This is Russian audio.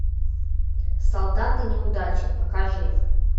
солдаты неудачи покажи